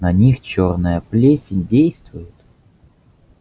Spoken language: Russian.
на них чёрная плесень действует